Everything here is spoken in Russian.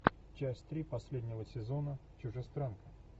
часть три последнего сезона чужестранка